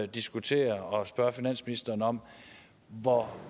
diskutere og spørge finansministeren om hvor